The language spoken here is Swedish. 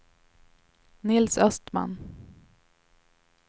Nils Östman